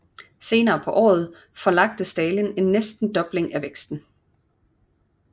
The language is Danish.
Senere på året forlagte Stalin en næsten fordobling af væksten